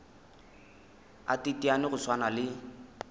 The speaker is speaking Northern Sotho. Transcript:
a teteane go swana le